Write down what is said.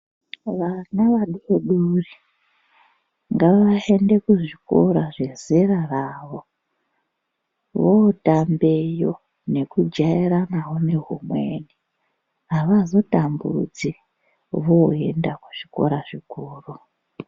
Vana vadodori ngavaende kuzvikora zvezera ravo votambeyo nekujairanawo nehumweni avazotambudzi voenda kuzvikora zvikuru.